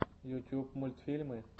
ютюб мультфильмы